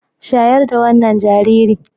Shayar da wannan jaririn.